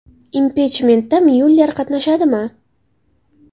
Impichmentda Myuller qatnashadimi?